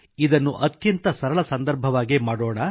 ಇದನ್ನು ಅತ್ಯಂತ ಸರಳ ಸಂದರ್ಭವಾಗೇ ಮಾಡೋಣ